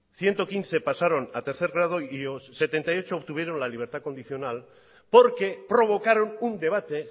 ciento quince pasaron a tercer grado y setenta y ocho obtuvieron la libertad condicional porque provocaron un debate